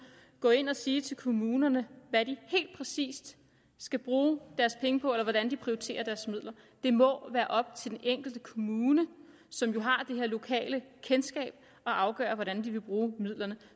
gå ind og sige til kommunerne hvad de helt præcis skal bruge deres penge på eller hvordan de skal prioritere deres midler det må være op til den enkelte kommune som jo har det lokale kendskab at afgøre hvordan de vil bruge midlerne